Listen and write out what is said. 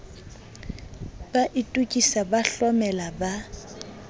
ba itokisa ba hlomela ba